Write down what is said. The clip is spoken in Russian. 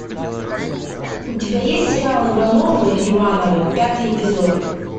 у тебя есть сериал ивановы ивановы пятый эпизод